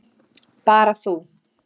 Bara þú.